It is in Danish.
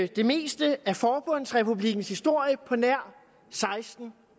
det meste af forbundsrepublikkens historie på nær seksten